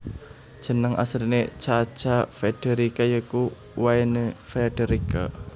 Jeneng asline Cha Cha Frederica ya iku Wynne Frederica